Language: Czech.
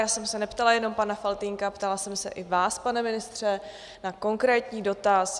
Já jsem se neptala jenom pana Faltýnka, ptala jsem se i vás, pane ministře, na konkrétní dotaz.